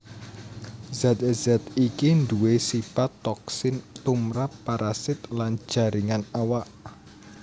Zat zat iki nduwé sipat toksin tumrap parasit lan jaringan awak